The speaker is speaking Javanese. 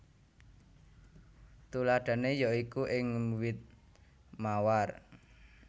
Tuladhané ya iku ing wit mawar